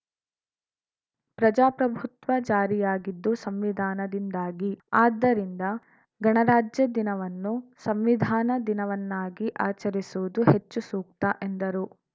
ಪ್ರಜಾಪ್ರಭುತ್ವ ಜಾರಿಯಾಗಿದ್ದು ಸಂವಿಧಾನದಿಂದಾಗಿ ಆದ್ದರಿಂದ ಗಣರಾಜ್ಯದಿನವನ್ನು ಸಂವಿಧಾನ ದಿನವನ್ನಾಗಿ ಆಚರಿಸುವುದು ಹೆಚ್ಚು ಸೂಕ್ತ ಎಂದರು